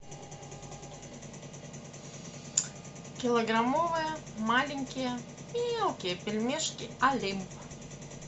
килограммовые маленькие мелкие пельмешки олимп